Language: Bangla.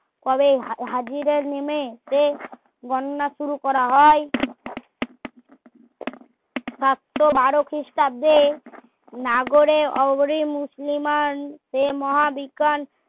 কবে হা~হাজিরা নেমে সে গণ না শুরু করা হয় সাতশো বারো খ্রিস্টাব্দে নাগরে আগরি মুসলিমান সে মহা বিকান